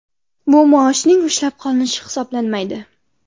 Bu maoshning ushlab qolinishi hisoblanmaydi.